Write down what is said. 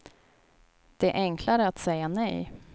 Det är enklare att säga nej.